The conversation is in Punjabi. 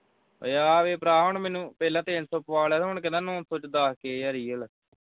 ਓਏ ਆ ਵੇਖ ਭਰਾ ਹੁਣ ਮੈਨੂੰ ਪਹਿਲਾਂ ਤਿਨ ਸੋ ਪੁਆ ਲਿਆ ਹੁਣ ਕਹਿੰਦਾ ਨੌ ਸੌ ਵਿਚ ਦਸ ਕੇ ਹਰੀ।